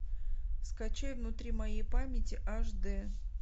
скачай внутри моей памяти аш дэ